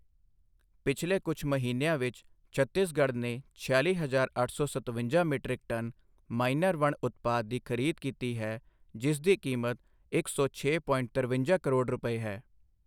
ਪਿਛਲੇ ਕੁਝ ਮਹੀਨਿਆਂ ਵਿੱਚ, ਛੱਤੀਸਗੜ੍ਹ ਨੇ ਛਿਆਲੀ ਹਜਾਰ ਅੱਠ ਸੌ ਸਤਵੰਜਾ ਮੀਟ੍ਰਿਕ ਟਨ ਮਾਈਨਰ ਵਣ ਉਤਪਾਦ ਦੀ ਖਰੀਦ ਕੀਤੀ ਹੈ ਜਿਸਦੀ ਕੀਮਤ ਇੱਕ ਸੌ ਛੇ ਪੋਇੰਟ ਤਿਰਵੰਜਾ ਕਰੋੜ ਰੁਪਏ ਹੈ।